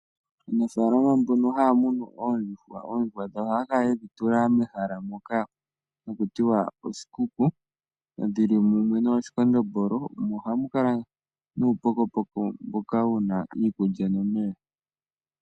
Aanafalama mbono haya munu oondjuhwa, oondjuhwa dhawo ohaya kala yedhi tula mehala moka haku tiwa oshikuku, dhili mumwe noo shikondombolo, mo ohamu kala nuu pokopoko mboka wuna iikulya nomeya.